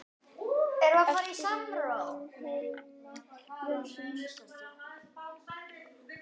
eftir Jón Hilmar Jónsson